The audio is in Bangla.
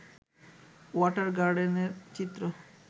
ওয়াটার গার্ডেনের চিত্র